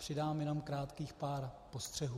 Přidám jenom krátkých pár postřehů.